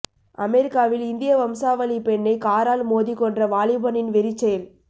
அமெரிக்காவில் இந்திய வம்சாவழி பெண்ணை காரால் மோதி கொன்ற வாலிபனின் வெறிச்செயல்